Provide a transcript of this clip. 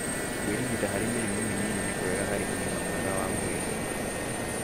Kũĩrigita harĩ mĩrimũ mĩnini nĩ kwega harĩ ũgima mwega wa mwĩrĩ